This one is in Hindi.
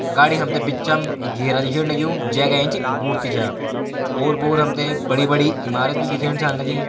गाड़ी हम त बिचम एक घेरा दिखेण लग्युं जै का एंच एक मूर्ति च ओर पोर हम त बड़ी-बड़ी इमारत भी दिखेण छा लगीं।